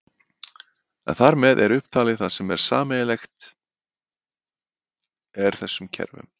En þar með er upptalið það sem sameiginlegt er þessum kerfum.